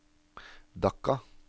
Dhaka